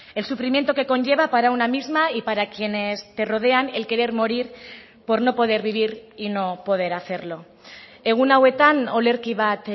el sufrimiento que conlleva para una misma y para quienes te rodean el querer morir por no poder vivir y no poder hacerlo egun hauetan olerki bat